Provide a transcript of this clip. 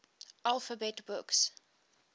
alphabet books